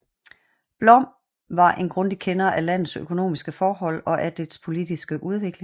Blom var en grundig kender af landets økonomiske forhold og af dets politiske udvikling